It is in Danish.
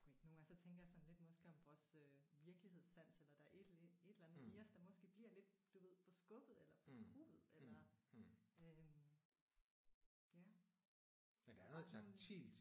Nogle gange så tænker jeg sådan lidt måske om vores øh virkelighedssans eller der er et eller andet i os der måske bliver lidt du ved forskubbet eller forskruet eller øh ja